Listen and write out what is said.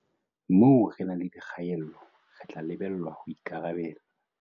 Moo re nang le dikgaello, re tla lebellwa ho ikarabella.